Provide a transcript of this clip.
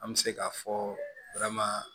An bɛ se k'a fɔ